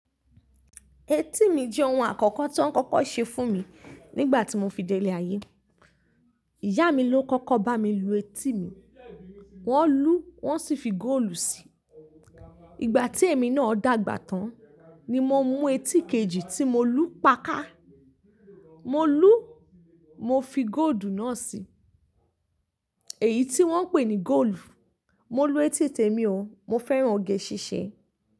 Etí mi jẹ́ oun àkọ́kọ́ tó ń kọ́kọ́ ṣe fún mi nígbà tí mo fi dé ilé ayé. Ìyá mi ló kọ́kọ́ bá mi lu etí mi, wọ́n lú, wọ́n sì fi góòlù si. Ìgbà tí èmi náà dàgbà tán ni mo mú etí kejì tí mo lú pá ká. Mo lú, mo fi góòdù náà si. Èyí tí wọ́n ń pè ní góòlù. Mo lu etí tèmi o, mo fẹ́ran oge ṣíṣe.